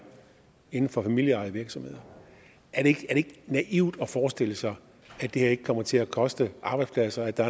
inden for familieejede virksomheder er det ikke naivt at forestille sig at det her ikke kommer til koste arbejdspladser og at der